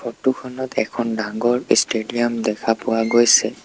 Photo খনত এখন ডাঙৰ ইষ্টেডিয়াম দেখা পোৱা গৈছে।